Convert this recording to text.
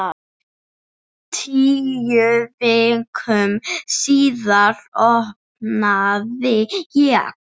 Tíu vikum síðar opnaði ég.